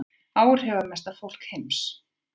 Áhrifamesta fólk heims